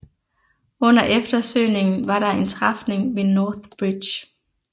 Under eftersøgningen var der en træfning ved North Bridge